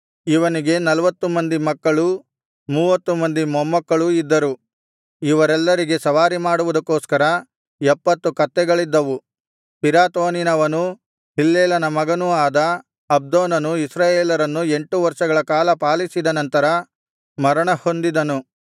ಇವನಿಗೆ ನಲ್ವತ್ತು ಮಂದಿ ಮಕ್ಕಳೂ ಮೂವತ್ತು ಮಂದಿ ಮೊಮ್ಮಕ್ಕಳೂ ಇದ್ದರು ಇವರೆಲ್ಲರಿಗೆ ಸವಾರಿಮಾಡುವುದಕ್ಕೋಸ್ಕರ ಎಪ್ಪತ್ತು ಕತ್ತೆಗಳಿದ್ದವು ಪಿರಾತೋನಿನವನೂ ಹಿಲ್ಲೇಲನ ಮಗನೂ ಆದ ಅಬ್ದೋನನು ಇಸ್ರಾಯೇಲರನ್ನು ಎಂಟು ವರ್ಷಗಳ ಕಾಲ ಪಾಲಿಸಿದ ನಂತರ ಮರಣಹೊಂದಿದನು